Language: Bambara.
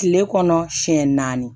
Kile kɔnɔ siɲɛ naani